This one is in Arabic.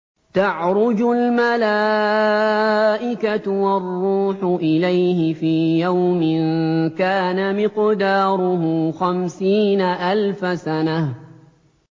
تَعْرُجُ الْمَلَائِكَةُ وَالرُّوحُ إِلَيْهِ فِي يَوْمٍ كَانَ مِقْدَارُهُ خَمْسِينَ أَلْفَ سَنَةٍ